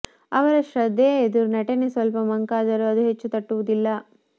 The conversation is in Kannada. ಅವರ ಶ್ರದ್ಧೆಯ ಎದುರು ನಟನೆ ಸ್ವಲ್ಪ ಮಂಕಾದರೂ ಅದು ಹೆಚ್ಚು ತಟ್ಟುವುದಿಲ್ಲ